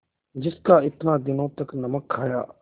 जिसका इतने दिनों तक नमक खाया